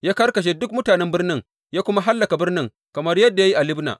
Ya karkashe duk mutanen birnin ya kuma hallaka birnin, kamar yadda ya yi a Libna.